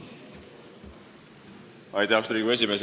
Austatud Riigikogu esimees!